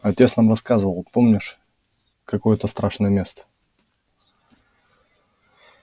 отец нам рассказывал помнишь какое это страшное место